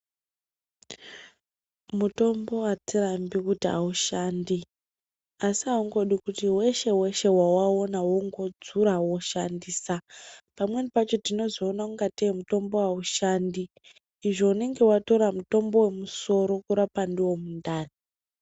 Mutombo hatirambi kuti haushandi asi haungodi kuti veshe-veshe vavaona vongodzura voshandisa. Pamweni pacho tinozoona kungetee mutombo haushandi, izvo unonga vatora mutombo vemusoro kurapa ndivo mundani.